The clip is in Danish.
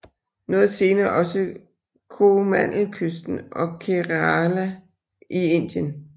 Noget senere også Koromandelkysten og Kerala i Indien